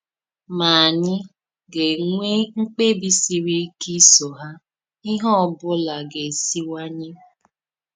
Ma ànyì ga-ènwè mkpebi siri ike iso hà, íhè ọbụla gà-èsìwànýè.